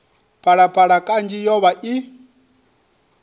phalaphala kanzhi yo vha i